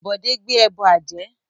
Bode gbé ẹbọ ajé